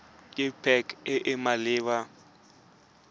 ke pac e e maleba